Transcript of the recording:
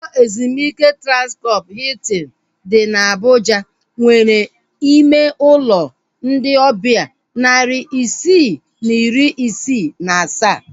Ụlọ ezumike Transkọp Hiltin dị na Abuja nwere ime ụlọ ndị ọbịa narị isii na iri isii na asaa